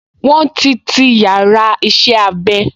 Wọ́n ti ti yàrá iṣẹ́-abẹ